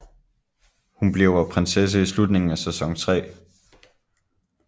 Hun bliver prinsesse i slutningen af sæson 3